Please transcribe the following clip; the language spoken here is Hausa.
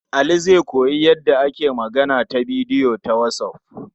Ali zai koyi yadda ake magana a bidiyo ta whatsApp.